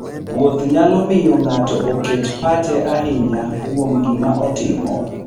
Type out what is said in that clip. Wuoth nyalo miyo ng'ato oket pache ahinya kuom gima otimo.